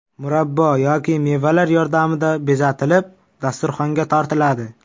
Murabbo yoki mevalar yordamida bezatilib, dasturxonga tortiladi.